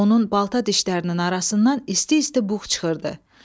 Onun balta dişlərinin arasından isti-isti bux çıxırdı.